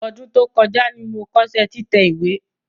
Ọdún tó kọjá ni mo kọ́ṣẹ́ títẹ̀ ìwé.